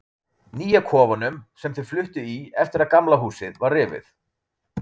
Nýja kofanum, sem þau fluttu í eftir að Gamla húsið var rifið.